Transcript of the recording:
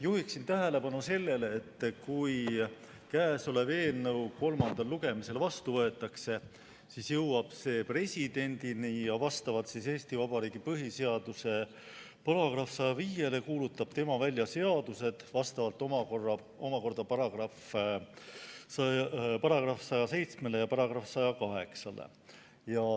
Juhiksin tähelepanu sellele, et kui käesolev eelnõu kolmandal lugemisel vastu võetakse, siis jõuab see presidendini ja vastavalt Eesti Vabariigi põhiseaduse §‑le 105 kuulutab tema välja seadused vastavalt omakorda §‑le 107 ja §-le 108.